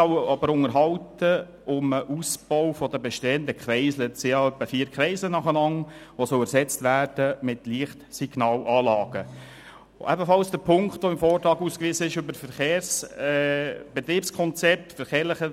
Ebenso hat uns der im Vortrag ausgewiesene Punkt zum verkehrstechnischen